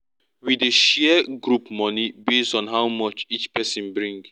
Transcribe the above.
we dey share group money base on how much each person bring